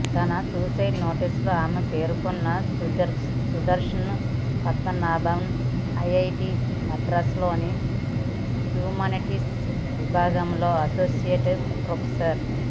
తన సూసైడ్ నోట్స్లో ఆమె పేర్కొన్న సుదర్శన్ పద్మనాభన్ ఐఐటీమద్రాసులోని హ్యూమానిటీస్ విభాగంలో అసోసియేట్ ప్రొఫెసర్